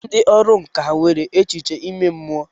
Ndị ọrụ nkà nwere echiche ime mmụọ.